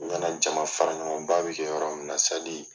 N nana Jaman fara ɲɔgɔn ba bi kɛ yɔrɔ min na